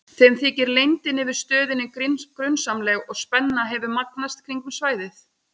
Þeim þykir leyndin yfir stöðinni grunsamleg og spenna hefur magnast kringum svæðið.